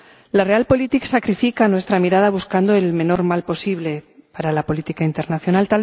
La Realpolitik sacrifica nuestra mirada buscando el menor mal posible para la política internacional.